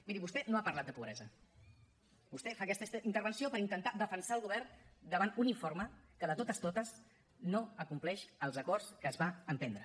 miri vostè no ha parlat de pobresa vostè fa aquesta intervenció per intentar defensar el govern davant d’un informe que de totes totes no compleix els acords que es van emprendre